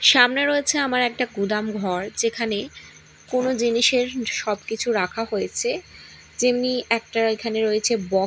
সামনে রয়েছে আমার একটা গুদাম ঘর যেখানে কোনো জিনিসের সবকিছু রাখা হয়েছে যেমনি একটা এখানে রয়েছে বক--